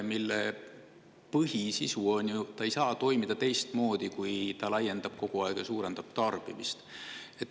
Selle põhisisu on ju see, et ta ei saa toimida teistmoodi, kui et ta kogu aeg laiendab ja suurendab tarbimist.